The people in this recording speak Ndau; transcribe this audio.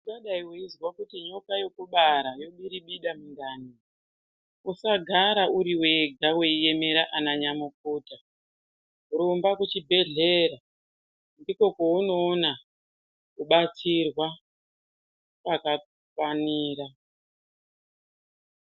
Ungadayi weizwa nyoka yekubara yobiribida mundani, uasagara uri wega weiemera ananyamukuta, rumba kuchibhedhlera ndikwo kwaunoona kubatsirwa kwakafanira.